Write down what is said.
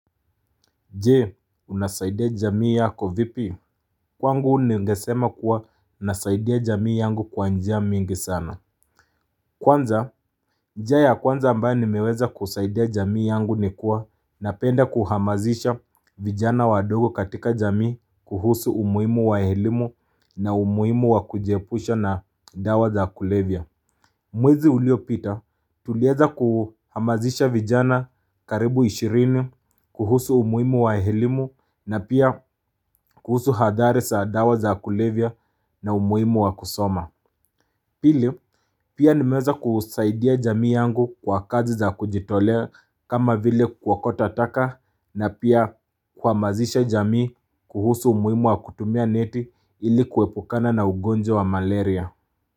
Je, unasaidia jamii yako vipi? Kwangu ningesema kuwa nasaidia jamii yangu kwa njia mingi sana Kwanza njia ya kwanza ambayo nimeweza kusaidia jamii yangu nikuwa napenda kuhamazisha vijana wadogo katika jamii kuhusu umuhimu wa elimu na umuhimu wa kujiepusha na dawa za kulevya Mwezi uliopita tuliweza kuhamazisha vijana karibu 20 kuhusu umuhimu wa elimu na pia kuhusu hadhari za dawa za kulevya na umuhimu wa kusoma Pili pia nimeweza kusaidia jamii yangu kwa kazi za kujitolea kama vile kuokota taka na pia kuhamazisha jamii kuhusu umuhimu wa kutumia neti ili kuepukana na ugonjwa wa malaria.